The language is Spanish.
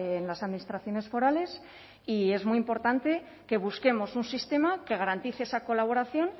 en las administraciones forales y es muy importante que busquemos un sistema que garantice esa colaboración